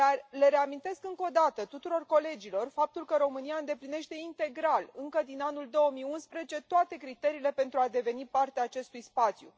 Le reamintesc încă o dată tuturor colegilor faptul că România îndeplinește integral, încă din anul 2011, toate criteriile pentru a deveni parte a acestui spațiu.